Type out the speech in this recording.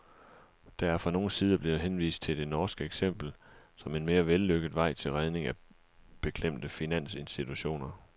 Der er fra nogle sider blevet henvist til det norske eksempel som en mere vellykket vej til redning af beklemte finansinstitutioner.